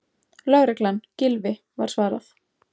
Lögreglan, Gylfi- var svarað.